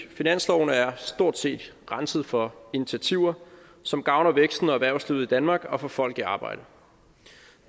finansloven er stort set renset for initiativer som gavner væksten og erhvervslivet i danmark og får folk i arbejde